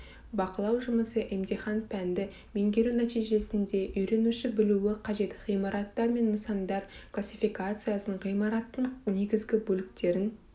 бақылау жұмысы емтихан пәнді меңгеру нәтижесінде үйренуші білуі қажет ғимараттар және нысандар классификациясын ғимараттың негізгі бөліктерін